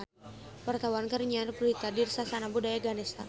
Wartawan keur nyiar berita di Sasana Budaya Ganesha